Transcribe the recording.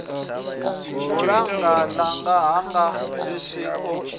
bulannga ḽa hanga xvusi o